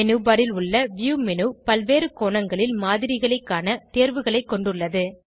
menu bar ல் உள்ள view menu பல்வேறு கோணங்களில் மாதிரிகளை காண தேர்வுகளை கொண்டுள்ளது